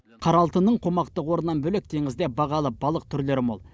қара алтынның қомақты қорынан бөлек теңізде бағалы балық түрлері мол